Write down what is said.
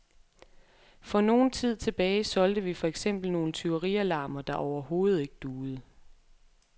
For nogen tid tilbage solgte vi for eksempel nogle tyverialarmer, der overhovedet ikke duede.